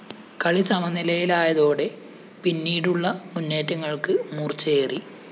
കളി സമനിലയിലായതോടെ പിന്നീടുള്ള മുന്നേറ്റങ്ങള്‍ക്ക് മൂര്‍ച്ചയേറി